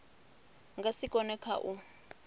nga si kone kha u